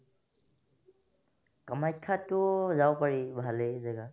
কামাখ্যাতো যাব পাৰি ভালেই জাগা